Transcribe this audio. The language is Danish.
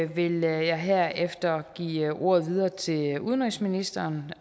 vil jeg herefter give ordet videre til udenrigsministeren